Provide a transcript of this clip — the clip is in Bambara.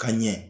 Ka ɲɛ